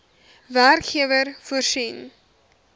werkgewer voorsien